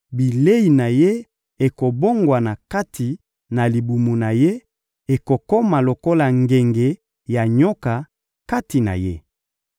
bilei na ye ekobongwana kati na libumu na ye, ekokoma lokola ngenge ya nyoka kati na ye.